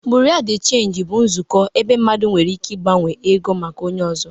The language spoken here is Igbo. Bureau de Change bụ nzukọ ebe mmadụ nwere ike ịgbanwe ego maka onye ọzọ